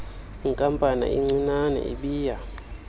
nkampanana incinane ibiya